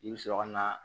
I bɛ sɔrɔ ka na